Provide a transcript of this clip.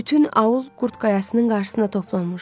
Bütün aul Qurd qayasının qarşısına toplanmışdı.